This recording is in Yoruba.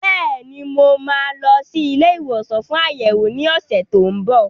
Bẹ́ẹ̀ni, mo máa lọ sí ilé ìwòsàn fún àyẹ̀wò ní ọ̀sẹ̀ tó ń bọ̀.